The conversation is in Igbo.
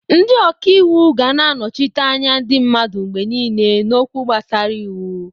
Ndị ọka ịwụ ga na-anọchite anya ndị mmadụ mgbe niile n'okwu gbasara iwu.